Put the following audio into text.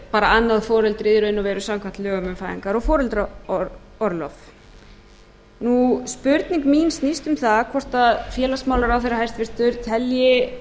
bara annað foreldrið í raun og veru samkvæmt lögunum um fæðingar og foreldraorlof nú spurning mín snýst um það hvort félagsmálaráðherra hæstvirtur telji